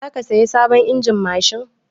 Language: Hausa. Za ka saya sabon injin mashin?